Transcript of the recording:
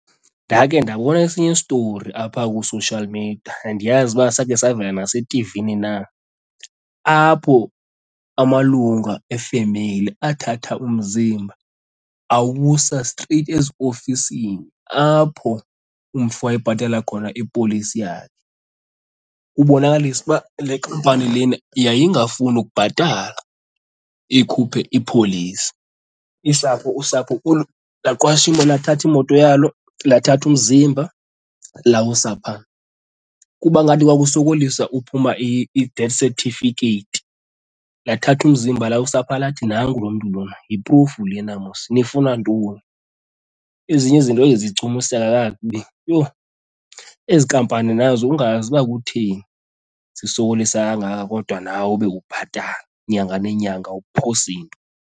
Ndake ndabona esinye story apha kwi-social media, andiyazi uba sakhe savela nasethivini na, apho amalunga efemeli athatha umzimba awusa streyithi eziofisini apho umfi wayebhatala khona ipolisi yakhe ukubonakalisa uba le kampani lena yayingafuni ukubhatala ikhuphe ipolisi. Isapho usapho laqasha lathatha imoto yalo lathatha umzimba lawusa phaa kuba ngathi kwakusokolisa uphuma i-death certificate, lathatha umzimba lawusa pha lathi nangu lo mntu lona yi-proof lena mos nifuna ntoni. Ezinye izinto eyi, zichumiseka kakubi yho. Ezi nkampani nazo ungayazi uba kutheni zisokolisa kangaka kodwa nawe ube ubhatala nyanga nenyanga uphosi into.